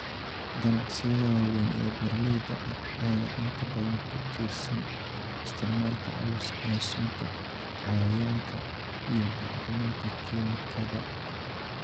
Ganacsiyada waaweyn ee beeralayda ayaa inta badan ku tiirsan isticmaalka culus ee sunta cayayaanka iyo bacriminta kiimikada.